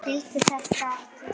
Skildi þetta ekki.